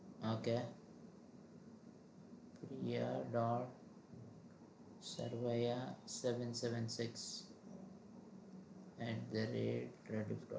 ok Priya dot Sarvaiya seven seven six at the rate